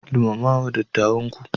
Girmama wa dattawanku.